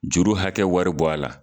Juru hakɛ wari bɔ a la.